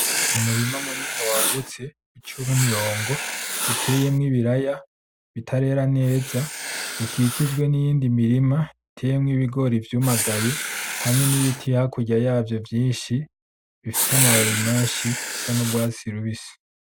Umurima munini wagutse uciwemwo imirongo uteyemo ibiraya bitarera neza bikikijwe niyindi mirima iteyemwo ibigori vyumagaye hamwe nibiti hakurya yavyo vyinshi bifise amababi menshi asa nurwatsi rubisi .